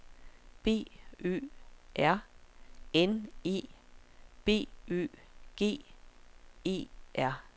B Ø R N E B Ø G E R